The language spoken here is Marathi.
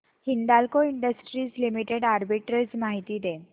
हिंदाल्को इंडस्ट्रीज लिमिटेड आर्बिट्रेज माहिती दे